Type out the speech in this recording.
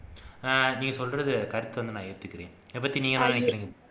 ஆஹ் நீங்க சொல்றது கருத்தை வந்து நான் ஏத்துக்கிறேன் இதைப்பத்தி நீங்க என்ன நினைக்கிறீங்க